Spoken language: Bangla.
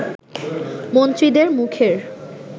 মন্ত্রীদের মুখের